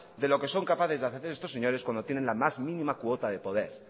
de lo que son capaces de hacer estos señores cuando tienen la más mínima cuota de poder